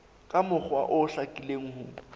ka mokgwa o hlakileng ho